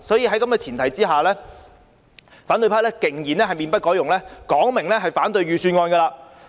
在這個前提下，反對派仍然面不改容，說明會反對預算案。